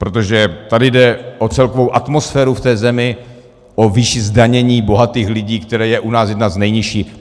Protože tady jde o celkovou atmosféru v té zemi, o výši zdanění bohatých lidí, která je u nás jedna z nejnižších.